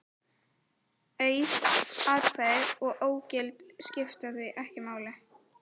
Auð atkvæði og ógild skipta því ekki máli.